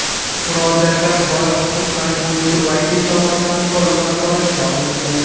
Murojaatlar bola huquqlari bo‘yicha vakil tomonidan to‘liq nazoratga olingan.